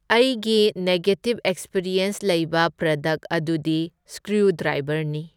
ꯑꯩꯒꯤ negative experience ꯂꯩꯕ product ꯑꯗꯨꯗꯤ ꯁꯀ꯭ꯔꯤꯎꯗ꯭ꯔꯥꯏꯕꯔꯅꯤ꯫